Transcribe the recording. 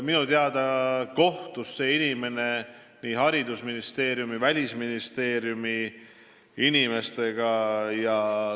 Minu teada kohtus see inimene haridusministeeriumi ja Välisministeeriumi inimestega.